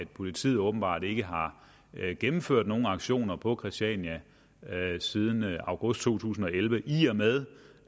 politiet åbenbart ikke har gennemført nogen aktioner på christiania siden august to tusind og elleve i og med